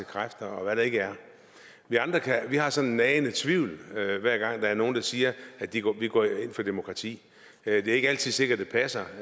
kræfter og hvad der ikke er vi andre har sådan en nagende tvivl hver hver gang der er nogen der siger at de går ind for demokrati det er ikke altid sikkert at det passer